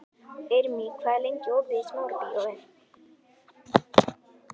Irmý, hvað er lengi opið í Smárabíói?